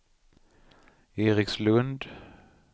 Erikslund